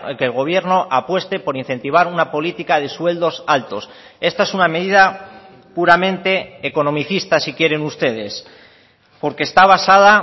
que el gobierno apueste por incentivar una política de sueldos altos esta es una medida puramente economicista si quieren ustedes porque está basada